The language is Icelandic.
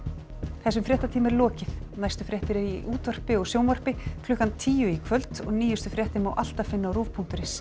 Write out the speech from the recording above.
þessum fréttatíma er lokið næstu fréttir eru í útvarpi og sjónvarpi klukkan tíu í kvöld og nýjustu fréttir má alltaf finna á rúv punktur is